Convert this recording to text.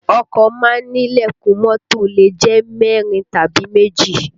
Ọkọ má ń ní ìlẹ̀kùn mọ́tò lè jẹ́ mẹ́rin tàbí méjì